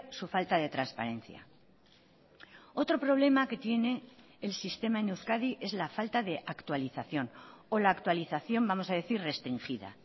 su falta de transparencia otro problema que tiene el sistema en euskadi es la falta de actualización o la actualización vamos a decir restringida